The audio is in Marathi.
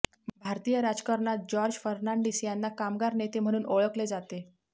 भारतीय राजकारणात जॉर्ज फर्नांडीस यांना कामगार नेते म्हणून ओळखले जाते